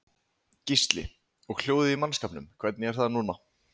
Gísli: Og hljóðið í mannskapnum hvernig er það núna?